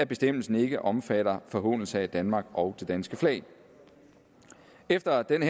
bestemmelse ikke omfatter en forhånelse af danmark og det danske flag efter denne